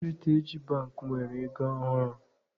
Heritej Bankị nwere ego ọhụrụ.